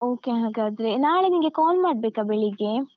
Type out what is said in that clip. Okay ಹಾಗಾದ್ರೆ. ನಾಳೆ ನಿಂಗೆ call ಮಾಡ್ಬೇಕ ಬೆಳಿಗ್ಗೆ?